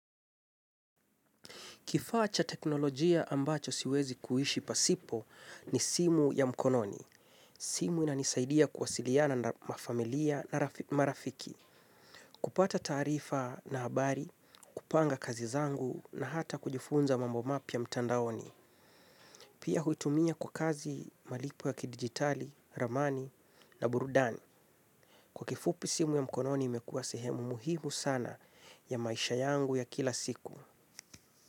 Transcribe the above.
Kifaa cha teknolojia ambacho siwezi kuishi pasipo ni simu ya mkononi. Simu inanisaidia kuwasiliana na mafamilia na marafiki. Kupata taarifa na habari, kupanga kazi zangu na hata kujifunza mambo mapya mtandaoni. Pia huitumia kwa kazi malipo ya kidigitali, ramani na burudani. Kwa kifupi simu ya mkononi imekua sehemu muhimu sana ya maisha yangu ya kila siku.